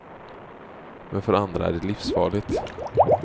Men för andra är det livsfarligt.